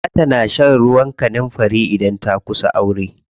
Za ta na shan ruwan kanunfari idan ta kusa aure.